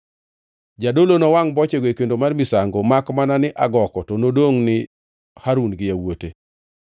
Jadolo nowangʼ bochego e kendo mar misango, makmana ni agoko to nodongʼ ni Harun gi yawuote.